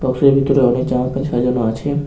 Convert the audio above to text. বক্সের ভিতরে অনেক জামা প্যান্ট সাজানো আছে।